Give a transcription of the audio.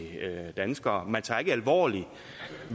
danskere man tager ikke alvorligt